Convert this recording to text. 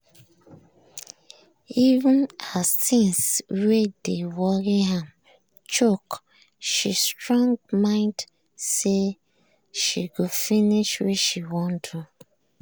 even as things wey dey worry am choke she strong mind say she go finish wey sha wan do.